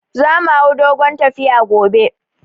Za mu hau dogon tafiya gobe